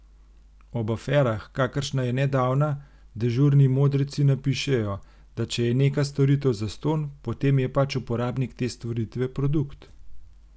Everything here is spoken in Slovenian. Ob aferah, kakršna je nedavna, dežurni modreci napišejo, da če je neka storitev zastonj, potem je pač uporabnik te storitve produkt.